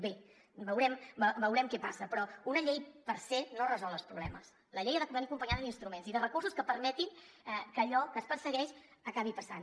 bé veurem què passa però una llei per se no resol els problemes la llei ha de venir acompanyada d’instruments i de recursos que permetin que allò que es persegueix acabi passant